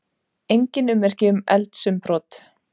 Engin ummerki um eldsumbrot